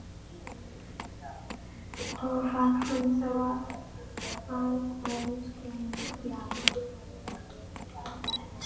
Og var hann þá að afskræma þær?